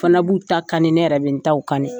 Fana b'u ta kani ne yɛrɛ bɛ n ta kani